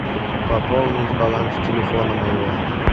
пополнить баланс телефона моего